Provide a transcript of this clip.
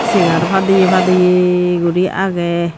segar padeya padeya guri agey.